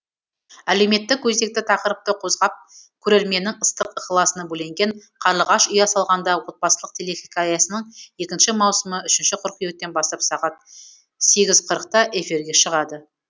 әлеуметтік өзекті тақырыпты қозғап көрерменнің ыстық ықыласына бөленген қарлығаш ұя салғанда отбасылық телехикаясының екінші маусымы үшінші қыркүйектен бастап сағат сегіз қырықта эфирге шығады